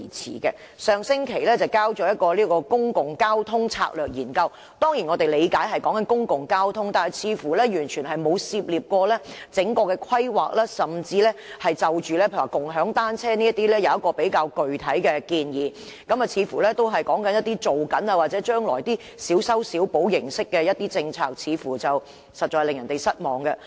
政府在上星期提交了《公共交通策略研究》，我們當然理解所談的是公共交通，但似乎完全沒有涉獵整個規劃，甚至沒有就共享單車等作出具體建議，似乎只是談及正在進行或將來小修小補形式的政策，實在令人失望。